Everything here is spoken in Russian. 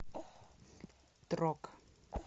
трок